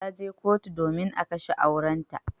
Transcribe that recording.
Ta je kotu domin a kashe aurenta.